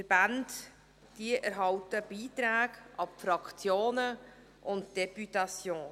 Es gibt Beiträge an die Fraktionen und an die Députation.